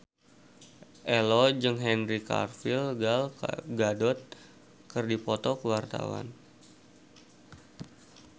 Ello jeung Henry Cavill Gal Gadot keur dipoto ku wartawan